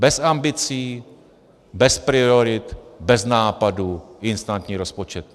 Bez ambicí, bez priorit, bez nápadu, instantní rozpočet.